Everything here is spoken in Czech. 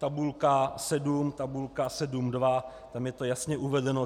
Tabulka 7, tabulka 7.2, tam je to jasně uvedeno.